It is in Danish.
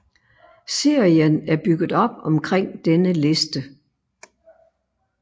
Serien er bygget op omkring denne liste